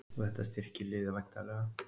Og þetta styrkir liðið væntanlega?